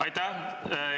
Aitäh!